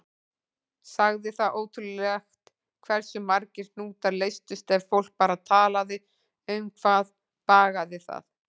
Sagði það ótrúlegt hversu margir hnútar leystust ef fólk bara talaði um hvað bagaði það.